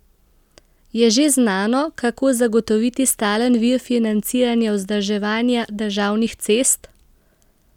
Je že znano, kako zagotoviti stalen vir financiranja vzdrževanja državnih cest?